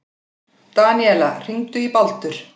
Daníela, hringdu í Baldur.